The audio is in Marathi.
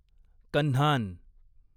कन्हान